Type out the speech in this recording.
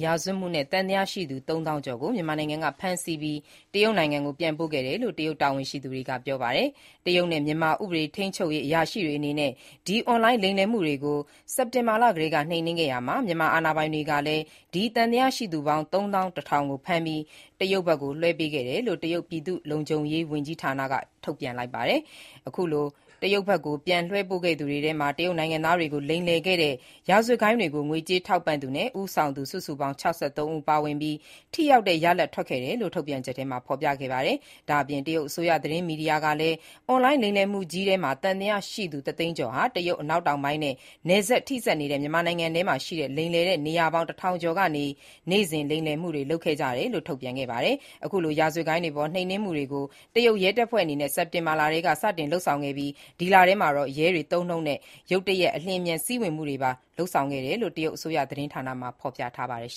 ရာဇဝတ်မှုနဲ့ သံသယရှိသူ ၃၀၀၀၀ ကျော်ကို မြန်မာနိုင်ငံကဖမ်းဆီးပြီး တရုတ်ကို ပြန်ပို့ခဲ့တယ်လို့ တရုတ်တာဝန်ရှိယူသူတွေက ပြောပါတယ်။ တရုတ်နဲ့မြန်မာ ဥပဒေထိန်းချုပ်ရေးအရာရှိတွေအနေနဲ့ ဒီ အွန်လိုင်း လိမ်လည်မှုတွေကို စက်တင်ဘာလကတည်းက နှိမ်နင်းခဲ့ရာမှာ၊ မြန်မာအာဏာပိုင်တွေကလည်း ဒီသံသယရှိသူပေါင်း ၃၁,၀၀၀ ကို ဖမ်းပြီး တရုတ်ဘက်လွှဲပေးခဲ့တယ်လို့ တရုတ် ပြည်သူ့လုံခြုံရေးဝန်ကြီးဌာနက ဒီနေ့ ထုတ်ပြန်လိုက်တာပါ။ အခုလို တရုတ်ဘက်ကို ပြန်လွှဲပို့ခဲ့သူတွေထဲမှာ တရုတ်နိုင်ငံသားတွေကို လိမ်လည်ခဲ့တဲ့ ဒီရာဇဝတ်ဂိုဏ်းတွေကို ငွေကြေးထောက်ပံ့သူနဲ့ ဦးဆောင်သူ စုစုပေါင်း ၆၃ ဦး ပါဝင်ပြီး၊ ထိရောက်တဲ့ ရလဒ်ထွက်ခဲ့တယ်လို့ ထုတ်ပြန်ချက်ထဲမှာ ဖော်ပြခဲ့ပါတယ်။ ဒါ့အပြင် တရုတ်အစိုးရသတင်းမီဒီယာကလည်း၊ ဒီအွန်လိုင်းလိမ်လည်မှုကြီးထဲ သံသယရှိသူ တစ်သိန်းကျော်ဟာ တရုတ်အနောက်တောင်ပိုင်းနဲ့ နယ်စပ်ထိနေတဲ့ မြန်မာနိုင်ငံထဲရှိ လိမ်လည်တဲ့နေရာပေါင်း ၁၀၀၀ ကနေ နေ့စဉ်လိမ်လည်မှုတွေ လုပ်ခဲ့ကြတယ်လို့ ထုတ်ပြန်ခဲ့ပါတယ်။ အခုလို ရာဇဝတ်ဂိုဏ်းတွေအပေါ် နှိမ်နင်းမှုတွေကို တရုတ်ရဲတပ်ဖွဲ့အနေနဲ့ စက်တင်ဘာထဲက စတင်လုပ်ဆောင်ခဲ့ပြီး၊ ဒီလထဲမှာတော့ ရဲတွေသုံးနှုန်းတဲ့ “ရုတ်တရက် အလျှင်အမြန် ဝင်စီးမှုတွေ” ပါ လုပ်ဆောင်ခဲ့တယ်လို့ တရုတ်အစိုးရ သတင်းမီဒီယာမှာ ဆက်ဖော်ပြခဲ့ပါတယ်။